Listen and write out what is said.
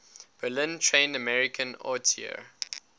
berlin trained american auteur